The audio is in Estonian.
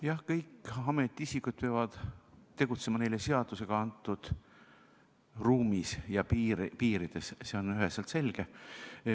Jah, kõik ametiisikud peavad tegutsema neile seadusega antud ruumis ja piirides, see on üheselt selge.